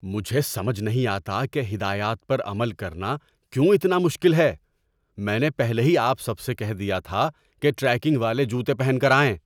مجھے سمجھ نہیں آتا کہ ہدایات پر عمل کرنا کیوں اتنا مشکل ہے۔ میں نے پہلے ہی آپ سب سے کہہ دیا تھا کہ ٹریکنگ والے جوتے پہن کر آئیں۔